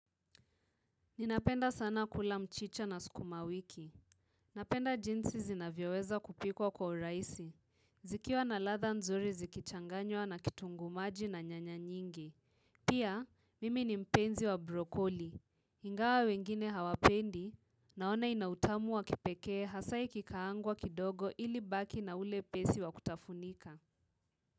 Ninapenda sana kula mchicha na sukuma wiki. Napenda jinsi zinavyoweza kupikwa kwa uraisi. Zikiwa na ladha nzuri zikichanganywa na kitunguu maji na nyanya nyingi. Pia, mimi ni mpenzi wa brokoli. Ingawa wengine hawapendi, naona ina utamu wa kipekee hasa ikikaangwa kidogo ili baki na ule pesi wa kutafunika.